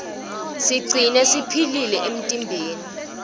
sitigcine siphilile emtimbeni